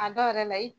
A dɔw yɛrɛ la i